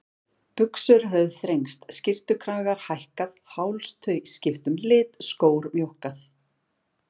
Buxur höfðu þrengst, skyrtukragar hækkað, hálstau skipt um lit, skór mjókkað.